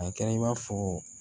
A kɛra i b'a fɔ